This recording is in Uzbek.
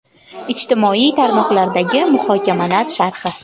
Ijtimoiy tarmoqlardagi muhokamalar sharhi.